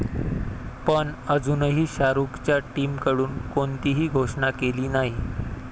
पण अजूनही शाहरुखच्या टीमकडून कोणतीही घोषणा केली नाही.